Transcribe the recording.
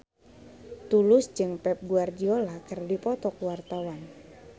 Tulus jeung Pep Guardiola keur dipoto ku wartawan